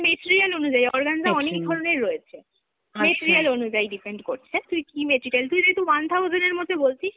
material অনুযায়ী, organza অনেক ধরনের রয়েছে, material অনুযায়ী depend করছে, তুই কী material, তুই যেহেতু one thousand এর মধ্যে বলছিস